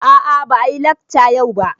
A a ba a yi lekca yau ba.